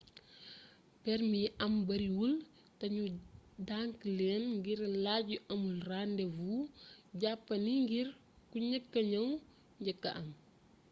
permi yi am bariwul te nu denc leen ngir laaj yu amul rendez vous jàppandi ngir ku njëkka ñëw njëkka am